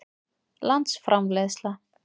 landsframleiðsla